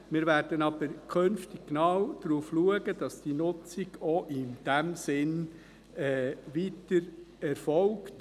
Wir werden aber künftig genau darauf achten, dass die Nutzung auch in diesem Sinn weiter erfolgt.